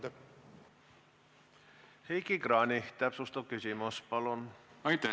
Heiki Kranich, täpsustav küsimus, palun!